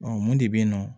mun de bɛ yen nɔ